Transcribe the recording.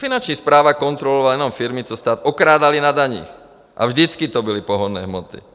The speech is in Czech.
Finanční správa kontrolovala jenom firmy, co stát okrádaly na daních, a vždycky to byly pohonné hmoty.